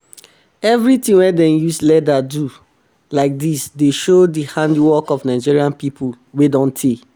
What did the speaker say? every ting wey dem use leather um do like um dis dey show di handiwork of nigeria people wey don tey